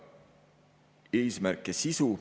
Eesmärk ja sisu.